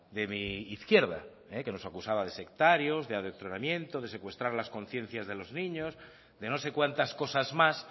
de mi izquierda que nos acusaban de sectarios de adoctrinamiento de secuestrar las conciencias de los niños de no sé cuantas cosas más